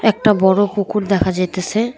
একটা বড় পুকুর দেখা যাইতেছে।